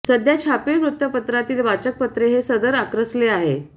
सध्या छापील वृत्तपत्रांतील वाचकपत्रे हे सदर आक्रसले आहे